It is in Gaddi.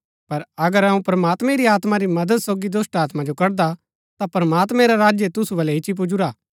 पर अगर अऊँ प्रमात्मैं री आत्मा री मदद सोगी दुष्‍टात्मा जो कडदा ता प्रमात्मैं रा राज्य तुसु बलै ईच्ची पुजुरा हा